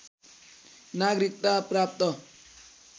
नागरिकता प्राप्त